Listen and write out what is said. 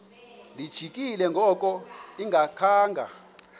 lijikile ngoku engakhanga